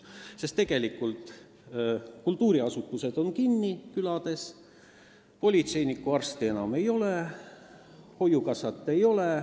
Sest külade kultuuriasutused on kinni, politseinikku ja arsti enam ei ole, hoiukassat enam ei ole.